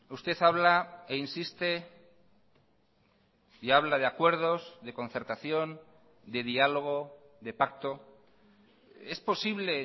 usted habla e insiste y habla de acuerdos de concertación de diálogo de pacto es posible